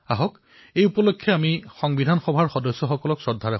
আমাৰ গণতন্ত্ৰৰ বাবে বিশেষ গুৰুত্বপূৰ্ণ কাৰণ এই দিনটোতেই আমি সংবিধান দিৱস পালন কৰো